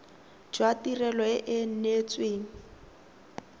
jwa tirelo e e neetsweng